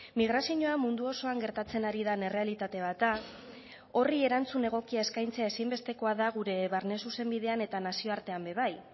migrazioa mundu osoan gertatzen ari den errealitate bat da horri erantzun egokia eskaintzea ezinbestekoa da gure barne zuzenbidean eta nazioartekoan bebai